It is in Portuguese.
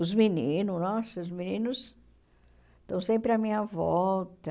Os meninos, nossa, os meninos estão sempre à minha volta.